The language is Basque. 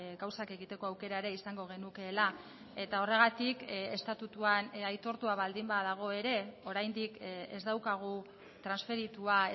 gauzak egiteko aukera ere izango genukeela eta horregatik estatutuan aitortua baldin badago ere oraindik ez daukagu transferitua